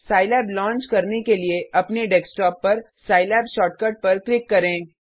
Scilab launch करने के लिए अपने डेस्कटॉप पर सिलाब शॉर्टकट पर क्लिक करें